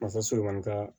Masaso kɔni ka